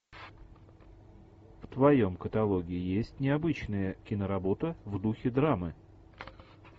в твоем каталоге есть необычная киноработа в духе драмы